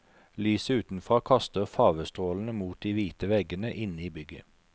Lyset utenfra kaster farvestrålene mot de hvite veggene inne i bygget.